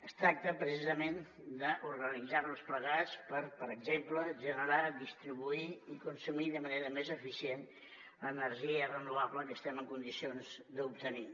es tracta precisament d’organitzar nos plegats per per exemple generar distribuir i consumir de manera més eficient l’energia renovable que estem en condicions d’obtenir